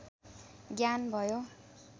ज्ञान भयो